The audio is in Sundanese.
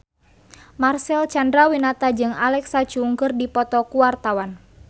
Marcel Chandrawinata jeung Alexa Chung keur dipoto ku wartawan